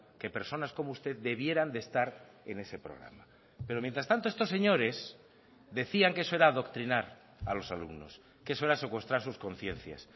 que personas como usted debieran de estar en ese programa pero mientras tanto estos señores decían que eso era adoctrinar a los alumnos que eso era secuestrar sus conciencias